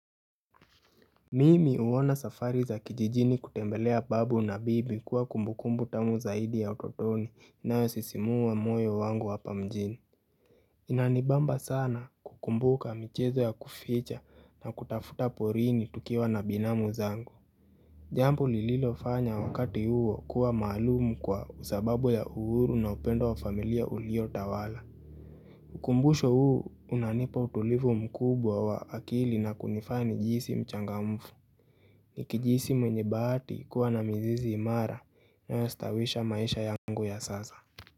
Mimi huona safari za kijijini kutembelea babu na bibi kuwa kumbukumbu tamu zaidi ya utotoni na inayosisimua wa moyo wangu hapa mjini. Inanibamba sana kukumbuka michezo ya kuficha na kutafuta porini tukiwa na binamu zangu. Jambo lililofanya wakati huo kuwa maalumu kwa sababu ya uhuru na upendo wa familia uliotawala. Ukumbusho huu unanipa utulivu mkubwa wa akili na kunifanya nijihisi mchangamfu. Nikijihisi mwenye bahati kuluwa na mizizi imara na inayostawisha maisha yangu ya sasa.